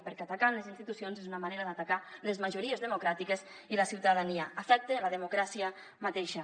perquè atacar les institucions és una manera d’atacar les majories democràtiques i la ciutadania afecta la democràcia mateixa